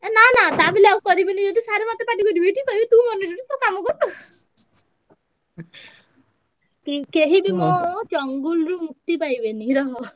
ଏ ନା ନା ତା ବୋଲି ଆଉ କରିବିନି ଯଦି sir ମତେ ପାଟି କରିବେ ଟି କହିବେ ତୁ monitor ତୁ କାମ କରୁନୁ। ଉଁ କେହିବି ମୋ ରୁ ମୁକ୍ତି ପାଇବେନି ରହ।